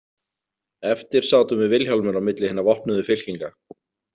Eftir sátum við Vilhjálmur á milli hinna vopnuðu fylkinga.